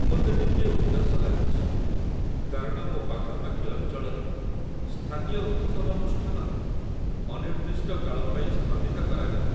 ମୋତେ ଟିକିଏ ଉଦାସ ଲାଗୁଛି, କାରଣ ମୋ ପାଖାପାଖି ଅଞ୍ଚଳରେ ସ୍ଥାନୀୟ ଉତ୍ସବାନୁଷ୍ଠାନ ଅନିର୍ଦ୍ଦିଷ୍ଟ କାଳ ପାଇଁ ସ୍ଥଗିତ କରାଗଲା।